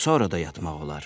Sonra da yatmaq olar.